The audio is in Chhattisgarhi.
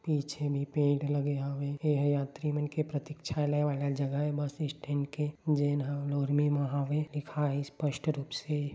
पीछे मे पेड़ लगे हवे एहा यात्री मन के प्रतीक्षालय वाला जगह ये बस स्टैन्ड के जैन ह नूरमी म हवय लिखाए हे स्पष्ट रूप से--